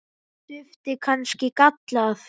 Var duftið kannski gallað?